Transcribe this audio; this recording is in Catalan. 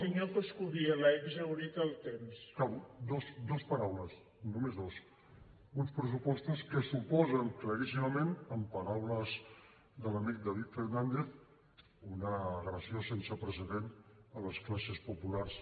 acabo dues paraules només dues d’uns pressupostos que suposen claríssimament en paraules de l’amic david fernàndez una agressió sense precedent a les classes populars